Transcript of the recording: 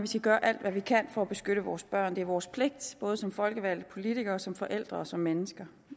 skal gøre alt hvad vi kan for at beskytte vores børn det er vores pligt både som folkevalgte politikere som forældre og som mennesker